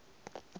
se se di rega ka